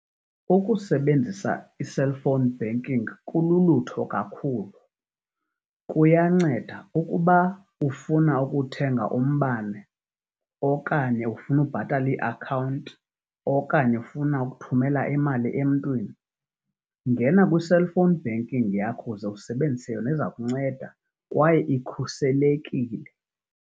Ukusebenzisa i-cellphone banking kululutho kakhulu. Kuyanceda ukuba ufuna ukuthenga umbane, okanye ufuna ukubhatala iiakhawunti, okanye ufuna ukuthumela imali emntwini, ngena kwi-cellphone banking yakho uze usebenzise yona, iza kunceda kwaye ikhuselekile